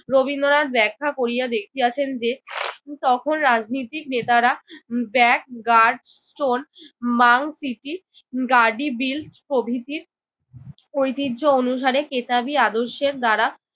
রবীন্দ্রনাথ ব্যাখা করিয়া দেখিয়াছেন যে তখন রাজনীতির নেতারা ব্যাগ গার্ড স্টোন মাউন্ট সিটি গাডিবিল প্রভৃতির ঐতিহ্যে অনুসারে কেতাবি আদর্শের দ্বারা